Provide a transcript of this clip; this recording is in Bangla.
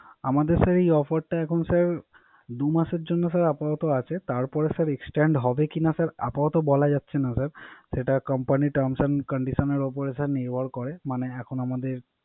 আমাদের এই Offer টা এখন টা স্যার দুই মাসের জন্য স্যার আপাতত আছে। তারপর স্যার Extent হবে কি না আপাতত বলা যাচ্ছে না। সেটা Company র Term and condition র উপর নির্ভর করে